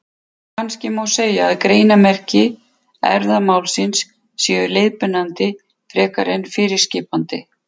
Kannski má segja að greinarmerki erfðamálsins séu leiðbeinandi frekar en fyrirskipandi.